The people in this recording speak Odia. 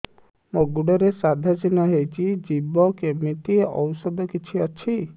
ମୋ ଗୁଡ଼ରେ ସାଧା ଚିହ୍ନ ହେଇଚି ଯିବ କେମିତି ଔଷଧ କିଛି ଅଛି